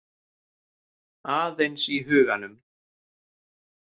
Aðeins í huganum.